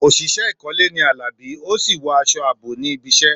Òṣìṣẹ́ ìkọ́lé ni Alabi, ó sì wọ aṣọ ààbò níbi iṣẹ́.